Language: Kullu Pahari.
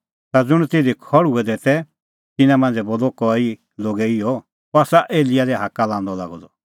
ता ज़ुंण तिधी खल़्हुऐ दै तै तिन्नां मांझ़ै बोलअ कई लोगै इहअ अह आसा एलियाह लै हाक्का लांदअ लागअ द